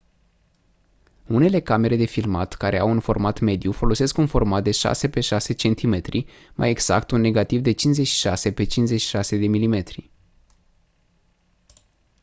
unele camere de filmat care au un format mediu folosesc un format de 6 x 6 cm mai exact un negativ de 56 x 56 mm